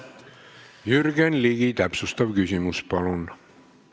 Jürgen Ligi, täpsustav küsimus, palun!